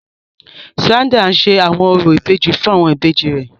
Sandra n ṣe awọn orȯ ìbejì fun awọn ìbejì rẹ.